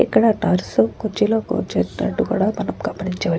ఇక్కడ నర్స్ కుర్చీలో కూర్చున్నట్టుగా మనం ఇక్కడ గమనించవచ్చు.